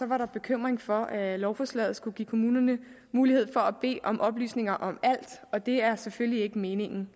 var der bekymring for at lovforslaget skulle give kommunerne mulighed for at bede om oplysninger om alt og det er selvfølgelig ikke meningen